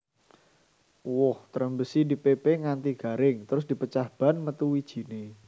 Woh Trembesi dipépé nganti garing terus dipecah bèn metu wijiné